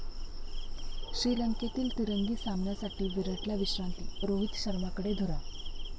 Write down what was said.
श्रीलंकेतील तिरंगी सामन्यासाठी विराटला विश्रांती, रोहित शर्माकडे धुरा